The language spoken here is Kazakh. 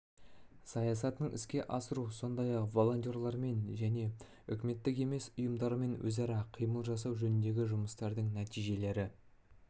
саясатын іске асыру сондай-ақ волонтерлермен және үкіметтік емес ұйымдармен өзара іс-қимыл жасау жөніндегі жұмыстардың нәтижелері